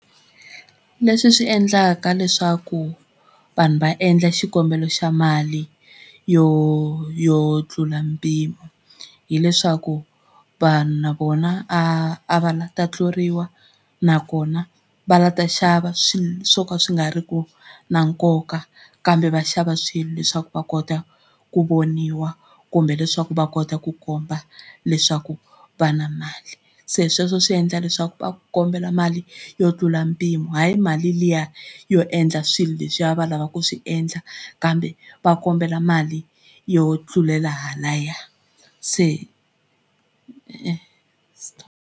Leswi swi endlaka leswaku vanhu va endla xikombelo xa mali yo yo tlula mpimo hileswaku vanhu na vona a va la ta tluriwa nakona a va nga ta xava swilo swo ka swi nga ri ki na nkoka kambe va xava swilo leswaku va kota ku voniwa kumbe leswaku va kota ku komba leswaku va na mali se sweswo swi endla leswaku va kombela mali yo tlula mpimo hayi mali liya yo endla swilo leswiya va lava ku swi endla kambe va kombela mali yo tlulela halaya se e .